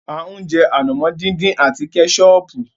A ń jẹ ànàmọ́ dín dín àti Kẹ́sọọ̀pù.